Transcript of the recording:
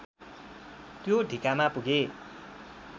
त्यो ढिकामा पुगे